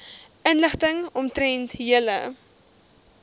inligting omtrent julle